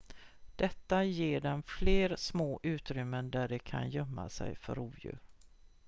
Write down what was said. detta ger dem fler små utrymmen där de kan gömma sig för rovdjur